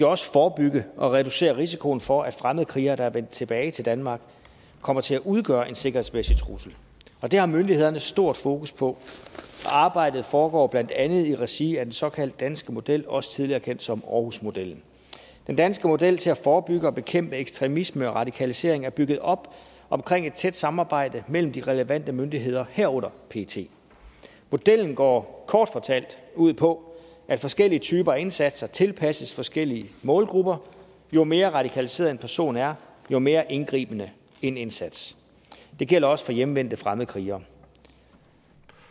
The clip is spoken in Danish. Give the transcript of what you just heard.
også forebygge og reducere risikoen for at fremmedkrigere der er vendt tilbage til danmark kommer til at udgøre en sikkerhedsmæssig trussel det har myndighederne et stort fokus på og arbejdet foregår blandt andet i regi af den såkaldte danske model også tidligere kendt som aarhusmodellen den danske model til at forebygge og bekæmpe ekstremisme og radikalisering er bygget op omkring et tæt samarbejde mellem de relevante myndigheder herunder pet modellen går kort fortalt ud på at forskellige typer af indsatser tilpasses forskellige målgrupper jo mere radikaliseret en person er jo mere indgribende en indsats det gælder også for hjemvendte fremmedkrigere